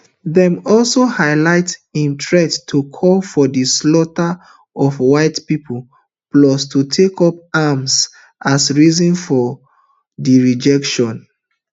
dem also highlight im threat to call for di slaughter of white pipo plus to take up arms as reason for di rejection